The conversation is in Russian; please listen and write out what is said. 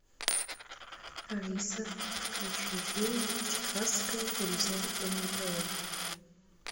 алиса включи фильм техасская резня бензопилой